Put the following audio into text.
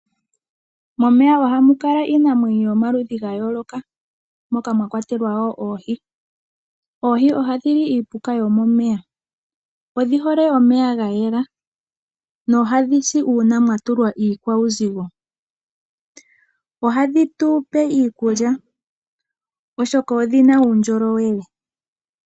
Momeya ohamu kala iinamwenyo yomaludhi ga yooloka moka mwa kwatelwa woo oohi. Oohi ohadhi li iipuka yo momeya, odhi hole omeya ga yela, nohadhi si uuna mwa tulwa iikwauzigo. Ohadhi tupe iikulya, oshoka odhina uundjolowele.